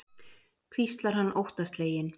hvíslar hann óttasleginn.